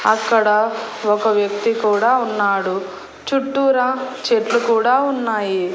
అక్కడ ఒక వ్యక్తి కూడా ఉన్నాడు చుట్టూరా చెట్లు కూడా ఉన్నాయి.